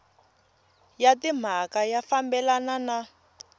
ya timhaka ya fambelana na